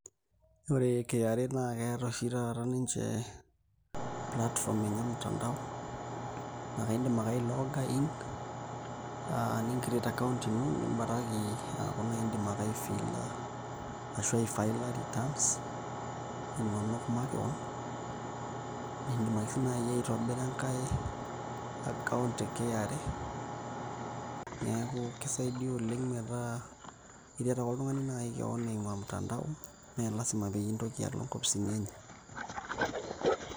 Ore KRA naa keeta oshi taata ninche platform enye emutandao naa kaidim ake ailooga in aa nicreate account nibaraki aaku indim ake ai filla returns inonok makeon niidim ake naai sii aitobira enkai account e KRA neeku kisaidia oleng' metaa iret ake naai oltung'ani keon eimu ormutandao mee lasima pee intoki alo nkopisini enye.